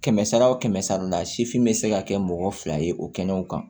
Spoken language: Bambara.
Kɛmɛ sara o kɛmɛ sara la sifin be se ka kɛ mɔgɔ fila ye o kɛnɛw kan